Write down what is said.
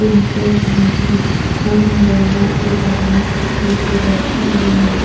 दिन से माटी खोन रहे हैं एक आदमी अ अ पीछे बैठा हुआ है।